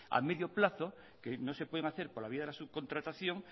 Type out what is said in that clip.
a medio plazo que no se pueden hacer por la vía de la subcontratación